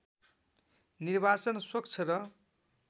निर्वाचन स्वच्छ र